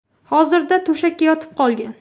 Hozirda to‘shakka yotib qolgan.